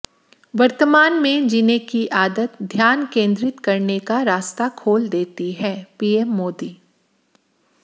वर्तमान में जीने की आदत ध्यान केंद्रित करने का रास्ता खोल देती हैः पीएम मोदी